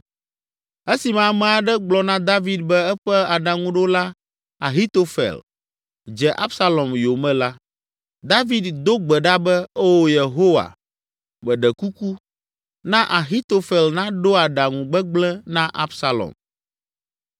Esime ame aɖe gblɔ na David be eƒe aɖaŋuɖola Ahitofel dze Absalom yome la, David do gbe ɖa be, “Oo, Yehowa, meɖe kuku, na Ahitofel naɖo aɖaŋu gbegblẽ na Absalom!”